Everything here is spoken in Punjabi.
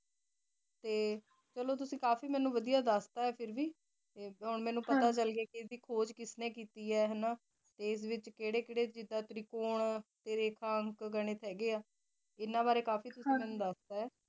ਟੀ ਚਲੋ ਤੁਸੀਂ ਕਾਫੀ ਮੀਨੁ ਵਾਦਿਯ ਦਸ ਤਾ ਆਏ ਫਿਰ ਵੀ ਆਯ ਮਨੁ ਪਤਾ ਚਲ ਗਿਆ ਆਏ ਯਦਿ ਖੋਜ ਕਿਸ ਨੀ ਕੀਤੀ ਆ ਹਾਨਾ ਟੀ ਇਸ ਵਿਚ ਕੇਰੀ ਕੇਰੀ ਜਿਡਾ ਤਾਰਿਕੋ ਹੋਣ ਤਾਰੀਫਾ ਹੋਣ ਗਣਿਤ ਤਾਰੀਖਾ ਗਣਿਤ ਹੀ ਗੀ ਆ ਏਨਾ ਬਰੀ ਬਰੀ ਕਾਫੀ ਹਨ ਜੀ ਯਨਾ ਬਰੀ ਕਾਫੀ ਕੁਛ ਮੈਨੂ ਦਸ ਤਾ ਆਏ